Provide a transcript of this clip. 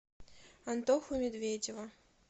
антоху медведева